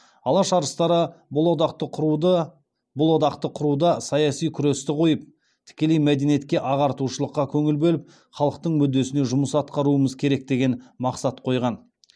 алаш арыстары бұл одақты құруда саяси күресті қойып тікелей мәдениетке ағартушылыққа көңіл бөліп халықтың мүддесіне жұмыс атқаруымыз керек деген мақсат қойған